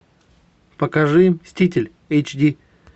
покажи мститель эйч ди